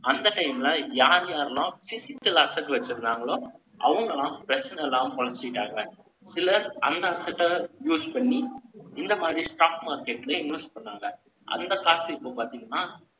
அந்த time ல, யார் யாரெல்லாம், physical asset ட வச்சிருந்தாங்களோ, அவங்க எல்லாம், பிரச்சனை இல்லாம, பொழச்சுக்கிட்டாங்க. சிலர், அந்த use பண்ணி, இந்த மாரி, stock market, invest பண்ணாங்க. அந்த காசு, இப்ப பாத்தீங்கன்னா,